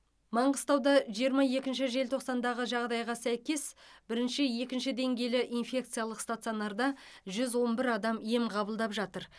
маңғыстауда жиырма екінші желтоқсандағы жағдайға сәйкес бірінші екінші деңгейлі инфекциялық стационарда жүз он бір адам ем қабылдап жатыр